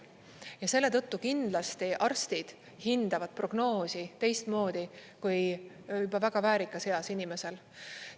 Ja selle tõttu kindlasti arstid hindavad prognoosi teistmoodi kui juba väga väärikas eas inimestel.